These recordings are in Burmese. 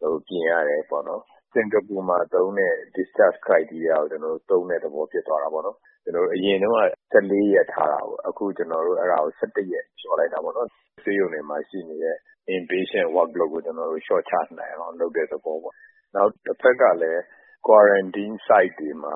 တို့ ပြင်ရတယ်ပေါ့နော်။ စင်ကာပူမှာသုံးတဲ့ ဆေးရုံဆင်းခွင့်မျိုးကို သုံးတဲ့သဘော ဖြစ်သွားတာပေါ့နော်။ အရင်တုန်းက ၁၄ ရက်ထားတာပေါ့။ အခု အဲ့ဒါကို အခု ၁၁ ရက် လျှော့လိုက်တာပေါ့နော်။ ဆေးရုံမှာရှိတဲ့ အတွင်းလူနာ Workload ကို လျှော့ချနိုင်အောင် လုပ်တဲ့သဘောပေါ့။ နောက် တဖက်ကလည်း Quarantine Site တွေမှာ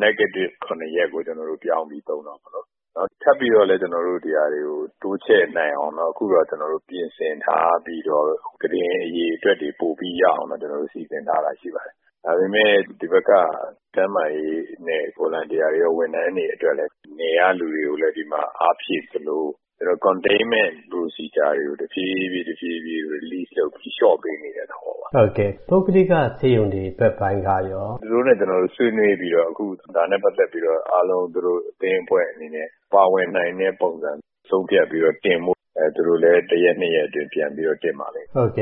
နှစ်ကြိမ်ဆက်တိုက် ပိုးမတွေ့တာ ၇ ရက်ကို ပြောင်းပြီး သုံးတော့မယ်နော်။ ထပ်ပြီးတော့လည်း ဒီနေရာတွေကို တိုးချဲ့နိုင်အောင် အခုတော့ ပြင်ဆင်ထားပြီးတော့ ကုတင်အရေအတွက်တွေ ပိုပြီးတော့ရအောင် စီစဉ်ထားတာရှိပါတယ်။ ဒါပေမယ့် ဒီဘက်က ကျန်းမာရေးဝန်ထမ်းတွေ၊ စေတနာ့ဝန်ထမ်းတွေ အတွက်လည်း နယ်ကလူတွေကို ဒီမှာ အားဖြည့်သလို ကျနော်တို့ အပြင်မပျံ့အောင် အတွင်းမှာ ထိန်းချုပ်ထားရေး လုပ်ငန်းစဉ်တွေကိုလည်း တဖြည်းဖြည်း တဖြည်းဖြည်း လျှော့ပေါ့တာလုပ်ပေးပြီး လျှော့ပေးနေတဲ့သဘောပါ။” ပုဂ္ဂလိက ဆေးရုံတွေဘက်ပိုင်းကရော။ “သူတို့နဲ့ ကျနော်တို့ ဆွေးနွေးပြီးတော့ ဝိုင်းကူကုသပေးရေးနဲ့ ပတ်သက်ပြီးတော့ အားလုံး သူတို့အသင်းအဖွဲ့အနေနဲ့ ပါဝင်နိုင်တဲ့ ပုံစံ ဆုံးဖြတ်ပြီးတော့ တင်ဖို့၊ သူတို့လည်း တရက်နှစ်ရက်အတွင်း တင်ပါလိမ့်မယ်။” တ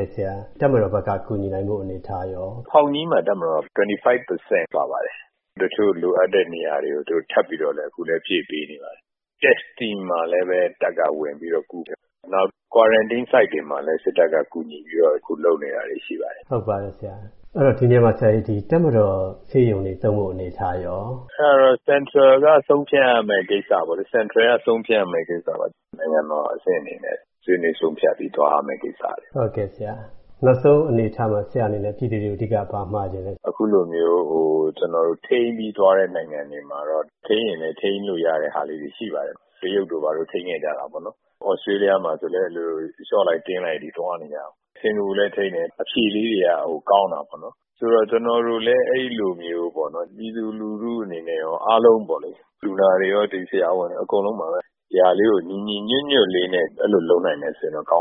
ပ်မတော်ဘက်က ကူညီနိုင်ဖို့ အနေအထားရော။ “ဖောင်ကြီးက ဆေးရုံမှာ တပ်မတော်က ၂၅ ရာခိုင်နှုန်း ပါပါတယ်။ တချို့ လိုအပ်တဲ့နေရာတွေကို သူတို့ အခု ထပ်ပြီးတော့လည်း ဖြည့်ပေးနေပါတယ်။ ဆေးစစ်တာမှာလည်း တပ်က ဝင်ပြီးတော့ကူတယ်။ နောက်ပြီးတော့ Quarantine Site တွေမှာလည်း စစ်တပ်က ကူညီပြီးတော့ ဝင်လုပ်ပေးနေတာတွေ ရှိပါတယ်။” ဟုတ်ပါတယ်ဆရာ၊ ဒီနေရာမှာ တပ်မတော်ဆေးရုံတွေပါ သုံးနိုင်မယ့် အနေအထားရော။ “အဲ့ဒါတော့ ဗဟိုက ဆုံးဖြတ်ရမယ့်ကိစ္စပါ။ နိုင်ငံတော်အဆင့်အနေနဲ့ ဆွေးနွေး ဆုံးဖြတ်ပြီးတော့ သွားရမယ့်ကိစ္စပါ။” နောက်ဆုံးအနေအထားမှာ ဆရာ့အနေနဲ့ ပြည်သူတွေကို အဓိက ဘာမှချင်သေးလဲဆရာ။ “အခုလိုမျိုး ကျနော်တို့ ထိန်းချုပ်ပြီးသွားတဲ့ နိုင်ငံတွေမှာတော့ ထိန်းရင်လည်း ထိန်းလို့ရတဲ့ဟာလေးတွေ ရှိပါတယ်။ တရုတ်တို့ ဘာတို့ ထိန်းခဲ့ကြတာပေါ့။ သြစတြေးလျမှာလည်း အဲ့လို လျှော့လိုက်၊ တင်းလိုက်တွေ သွားနေကြတာ။ စင်ကာပူလည်း ထိန်းတယ်၊ အဖြေလေးတွေက ကောင်းတာပေါ့နော်။ ဆိုလိုတာက ကျနော်တို့လည်း အဲ့လိုမျိုးပေါ့နော်၊ ပြည်သူလူထုအနေနဲ့လည်း အားလုံးပေါ့နော် လူနာတွေရော၊ ဆရာဝန်တွေရော၊ ဒီ အားလုံးပါပဲ၊ ဒီဟာလေးကို ညီညီညွတ်ညွတ်လေးနဲ့ အဲ့လိုလုပ်နိုင်မယ်ဆိုရင်တော့ ကောင်းမ